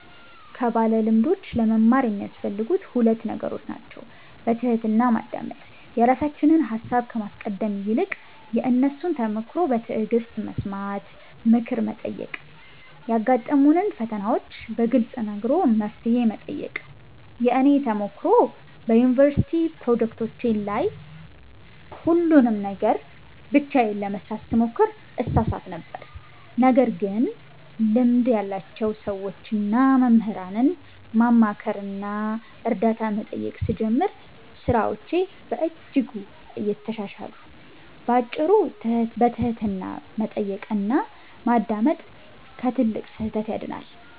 ከባለልምዶች ለመማር የሚያስፈልጉት ሁለት ነገሮች ናቸው፦ በትሕትና ማዳመጥ፦ የራሳችንን ሃሳብ ከማስቀደም ይልቅ የእነሱን ተሞክሮ በትዕግሥት መስማት። ምክር መጠየቅ፦ ያጋጠሙንን ፈተናዎች በግልጽ ነግሮ መፍትሄ መጠየቅ። የእኔ ተሞክሮ፦ በዩኒቨርሲቲ ፕሮጀክቶቼ ላይ ሁሉንም ነገር ብቻዬን ለመሥራት ስሞክር እሳሳት ነበር። ነገር ግን ልምድ ያላቸውን ሰዎችና መምህራንን ማማከርና እርዳታ መጠየቅ ስጀምር ሥራዎቼ በእጅጉ ተሻሻሉ። ባጭሩ፤ በትሕትና መጠየቅና ማዳመጥ ከትልቅ ስህተት ያድናል።